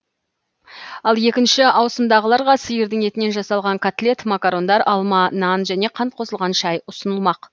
ал екінші ауысымдағыларға сиырдың етінен жасалған котлет макарондар алма нан және қант қосылған шай ұсынылмақ